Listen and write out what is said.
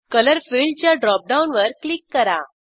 colour फिल्डच्या drop डाऊनवर click करा